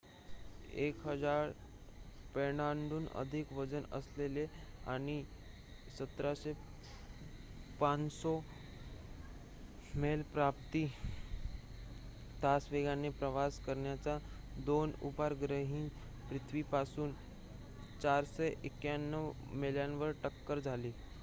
१,००० पौंडहून अधिक वजन असलेल्या आणि १७,५०० मैल प्रति तास वेगाने प्रवास करणाऱ्या दोन उपग्रहांची पृथिवीपासून ४९१ मैलांवर टक्कर झाली